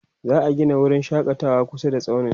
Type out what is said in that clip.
za'a Gina wurin shakatawa kusa da tsaunin